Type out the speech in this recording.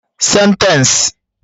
Sentence